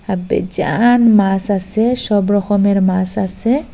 বেজান মাস আসে সব রকমের মাস আসে।